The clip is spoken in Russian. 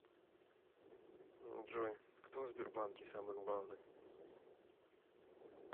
джой кто в сбербанке самый главный